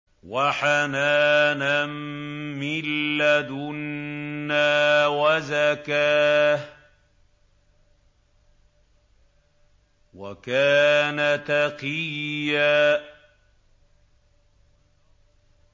وَحَنَانًا مِّن لَّدُنَّا وَزَكَاةً ۖ وَكَانَ تَقِيًّا